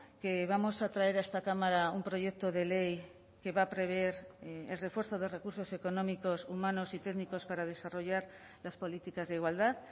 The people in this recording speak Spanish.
que vamos a traer a esta cámara un proyecto de ley que va a prever el refuerzo de recursos económicos humanos y técnicos para desarrollar las políticas de igualdad